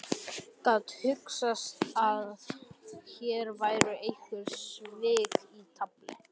Gat hugsast að hér væru einhver svik í tafli?